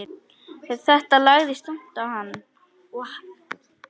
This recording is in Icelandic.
Þetta lagðist þungt á hann.